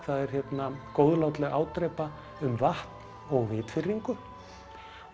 það er góðlátleg ádrepa um vatn og vitfirringu